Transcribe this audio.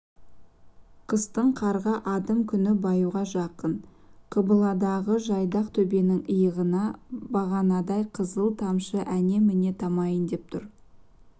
қыстың қарға адым күн баюға жақын қыбыладағы жайдақ төбенің иығына бағанадай қызыл тамшы әне-міне тамайын деп тұр